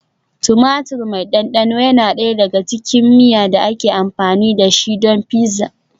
Tumatir mai ɗanɗano yana ɗaya daga cikin miya da ake amfani da shi don pizza.